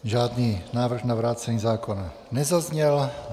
Žádný návrh na vrácení zákona nezazněl.